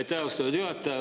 Aitäh, austatud juhataja!